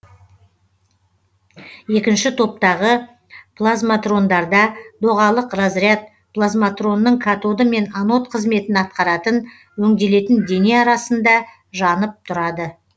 екінші топтағы плазматрондарда доғалық разряд плазматронның катоды мен анод қызметін атқаратын өңделетін дене арасында жанып тұрады